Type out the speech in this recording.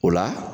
O la